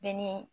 Bɛɛ ni